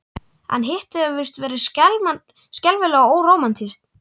En Hittið hefur víst verið skelfilega órómantískt.